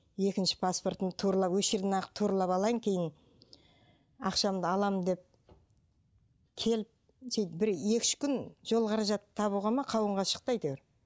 екінші паспортын туралап осы жерден ақ туралап алайын кейін ақшамды аламын деп келіп сөйтіп бір екі үш күн жол қаражатын табуға ма қауынға шықты әйтеуір